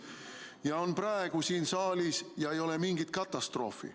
Nad on praegu siin saalis ja ei ole mingit katastroofi.